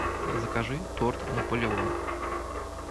закажи торт наполеон